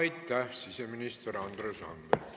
Aitäh, siseminister Andres Anvelt!